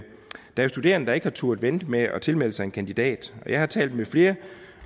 jo studerende der ikke har turdet vente med at tilmelde sig en kandidat og jeg har talt med flere